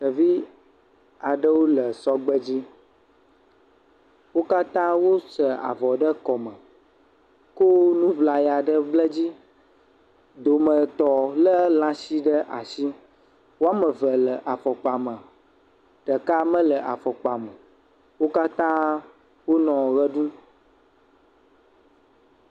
Ɖevi aɖewo le sɔgbe dzi. Wo katã wosɛ avɔ ɖe kɔme ko nu ŋlaya ɖe ble dzi. Dometɔ lé lãshi ɖe ashi. Wo ame ve le afɔkpa me. Ɖeka mele afɔkpa me o. Wo katã wonɔ ʋe ɖum.